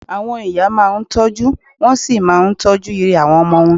Àwọn ìyá máa ń tọ́jú, wọ́n sì máa ń tọ́jú ire àwọn ọmọ wọn